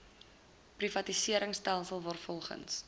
privatisering stelsel waarvolgens